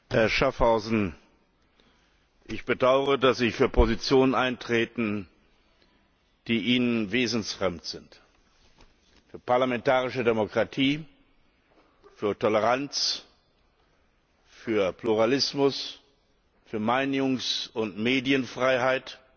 Herr Präsident! Herr Schaffhauser, ich bedaure, dass ich für Positionen eintrete, die Ihnen wesensfremd sind für parlamentarische Demokratie, für Toleranz, für Pluralismus, für Meinungs und Medienfreiheit,